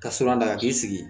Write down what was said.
Ka siran da ka k'i sigi